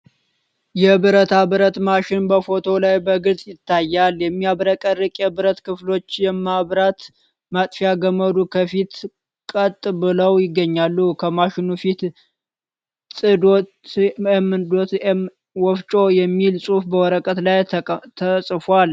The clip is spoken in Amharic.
የብረታ ብረት ማሽን በፎቶው ላይ በግልጽ ይታያል። የሚያብረቀርቅ የብረት ክፍሎችና የማብራት ማጥፊያ ገመዱ ከፊት ቀጥ ብለው ይገኛሉ። ከማሽኑ ፊት 'ጥ.መ.መ. ወፍጮ' የሚል ጽሑፍ በወረቀት ላይ ተጽፏል።